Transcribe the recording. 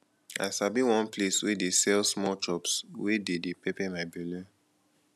i sabi one place wey dey sell small chops wey dey dey pepper my belle